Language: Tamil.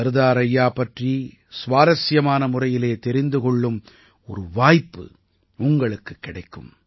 சர்தார் ஐயா பற்றி சுவாரசியமான முறையிலே தெரிந்து கொள்ளும் ஒரு வாய்ப்பு உங்களுக்குக் கிடைக்கும்